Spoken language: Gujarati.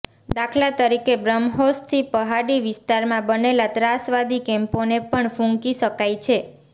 દાખલા તરીકે બ્રહ્મોસથી પહાડી વિસ્તારમાં બનેલા ત્રાસવાદી કેમ્પોને પણ ફૂંકી શકાય છે